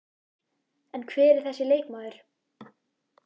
En hver er þessi leikmaður?